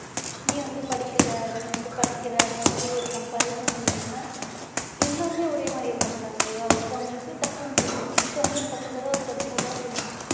நீ வந்து படிக்கல நீ வந்து படிக்கிற அந்த மாதிரி ஒரு comparison இல்லாம எல்லாருமே ஓரே மாதிரி இருக்கமாட்டாங்க இல்லையா ஒருத்தவங்களுக்கு டக்குன்னு புரியும் ஒருதவங்களுக்கு பத்து தடவை படிச்சா தான் புரியும்